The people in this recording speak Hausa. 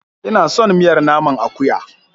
Ina son miyar naman akuya.